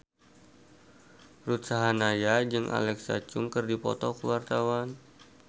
Ruth Sahanaya jeung Alexa Chung keur dipoto ku wartawan